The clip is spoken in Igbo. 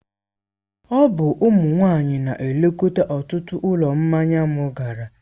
Ọ bụ ụmụ nwanyị na-elekọta ọtụtụ ụlọ mmanya m gara.